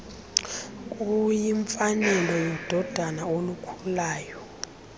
kuyimfanelo yododana olukhulayo